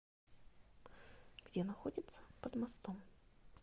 где находится под мостом